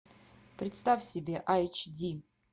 представь себе айч ди